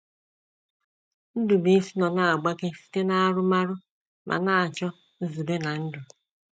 Ndubuisi nọ na - agbake site n’aṅụrụma ma na - achọ nzube ná ndụ.